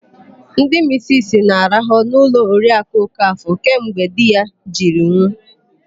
Ndị misisi na-araha n'ụlọ Oriakụ Okafọ kemgbe di ya jiri nwụ.